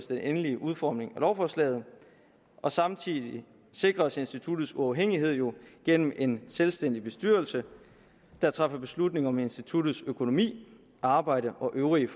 den endelige udformning af lovforslaget og samtidig sikres instituttets uafhængighed jo igennem en selvstændig bestyrelse der træffer beslutning om instituttets økonomi arbejde og øvrige